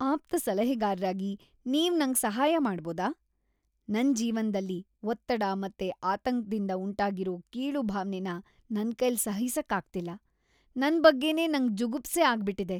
ಆಪ್ತಸಲಹೆಗಾರ್ರಾಗಿ ನೀವ್ ನಂಗ್ ಸಹಾಯ ಮಾಡ್ಬೋದ? ನನ್ ಜೀವನ್ದಲ್ಲಿ ಒತ್ತಡ ಮತ್ತೆ ಆತಂಕ್ದಿಂದ ಉಂಟಾಗಿರೋ ಕೀಳು ಭಾವ್ನೆನ ನನ್ಕೈಲ್ ಸಹಿಸಕ್ಕಾಗ್ತಿಲ್ಲ.‌. ನನ್‌ ಬಗ್ಗೆನೇ ನಂಗ್‌ ಜುಗುಪ್ಸೆ ಆಗ್ಬಿಟಿದೆ.